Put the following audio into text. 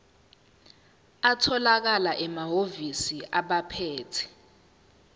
atholakala emahhovisi abaphethe